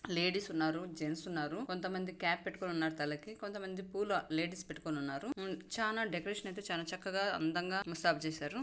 Ladies ఉన్నారు gents ఉన్నారు కొంతమంది క్యాప్ పెట్టుకొని ఉన్నారు తలకి కొంతమంది పూలు లేడీస్ పెట్టుకొని ఉన్నారు. చానా డెకరేషన్ అయితే చానా చక్కగా అందంగా ముస్తాబ్ చేసారు.